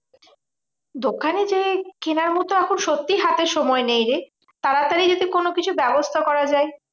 দোকানে যেয়ে কেনার মতো এখন সত্যি হাতে সময় নেই রে। তাড়াতাড়ি যদি কোনোকিছু ব্যবস্থা করা যায়।